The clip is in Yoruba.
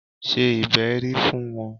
Ṣe ìbẹ́rí fún wọn!